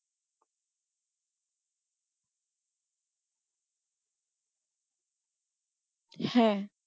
হ্যাঁ